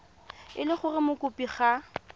e le gore mokopi ga